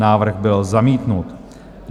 Návrh byl zamítnut.